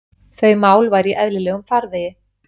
Þau mál væru í eðlilegum farvegi